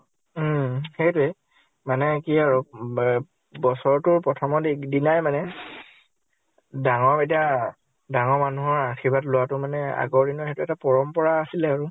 উম। সেইটোয়ে। মানে কি আৰু উম ব বছৰটোৰ প্ৰথমত এক দিনাই মানে ডাঙৰ কেইটাৰ, ডাঙৰ মানুহৰ আশীৰ্বাদ লোৱাটো মানে আগৰ দিনৰ সেইটো এটা পৰম্পৰা আছিলে আৰু।